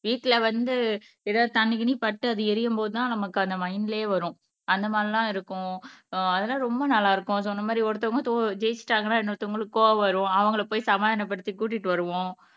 வீட்டுல வந்து ஏதாவது தண்ணி கிண்ணி பட்டு அது எரியும்போதுதான் நமக்கு அந்த மைன்ட்லயே வரும் அந்த மாதிரி எல்லாம் இருக்கும். அஹ் அதெல்லாம் ரொம்ப நல்லா இருக்கும் சோ அந்த மாதிரி ஒருத்தவங்க தோ ஜெயிச்சுட்டாங்கன்னா இன்னொருத்தவங்களுக்கு கோபம் வரும் அவங்களை போய் சமாதானப்படுத்தி கூட்டிட்டு வருவோம்.